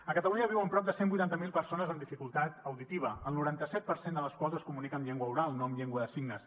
a catalunya hi viuen prop de cent i vuitanta miler persones amb dificultat auditiva el noranta set per cent de les quals es comunica en llengua oral no en llengua de signes